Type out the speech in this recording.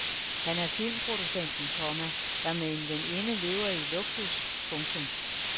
Han er filmproducenten, komma der med en veninde lever i luksus. punktum